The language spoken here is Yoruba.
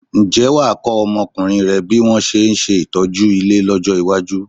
Ǹjẹ́ wà á kọ́ ọmọkùnrin rẹ bí wọn ṣe ń ṣe ìtọ́jú ilé lọ́jọ́ iwájú?